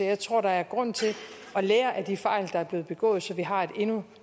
jeg tror at der er grund til at lære af de fejl der er blevet begået så vi har et endnu